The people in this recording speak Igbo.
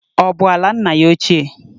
Ọ bụ ala nna ya ochie?